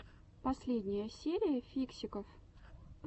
последняя серия фиксиков